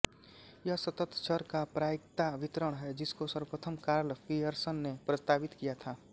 यह सतत चर का प्रायिकता वितरण है जिसको सर्वप्रथम कार्ल पियर्सन ने प्रस्तावित किया था